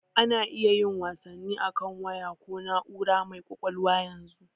A na iya yin wasanni akan waya ko na'ura mai ƙwaƙwalwa yanzu.